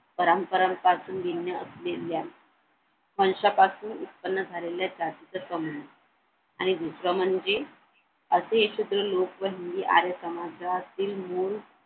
परस्परांपासून निम्म्या नेमल्या फंश्यापासून उत्पन्न झालेल्या आणि दुसरं म्हणजे असे हे शूद्र लोक व हिंदी आर्य समाजातील मुलं